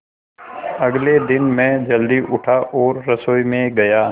अगले दिन मैं जल्दी उठा और रसोई में गया